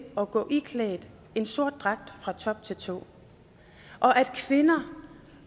at gå iklædt en sort dragt fra top til tå og at kvinder